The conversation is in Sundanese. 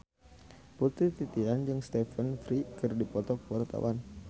Putri Titian jeung Stephen Fry keur dipoto ku wartawan